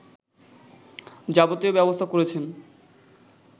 যাবতীয় ব্যবস্থা করেছেন